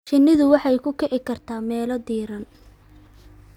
Shinnidu waxay ku kici kartaa meelo diiran.